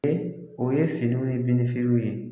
Ee o ye finiw ni denmisɛnninw ye